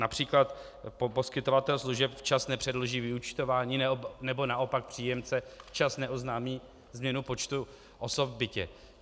Například poskytovatel služeb včas nepředloží vyúčtování, nebo naopak příjemce včas neoznámí změnu počtu osob v bytě.